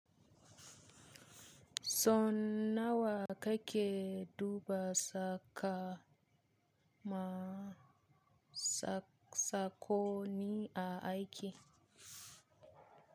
So nawa kake duba saka ma sakoni a aiki?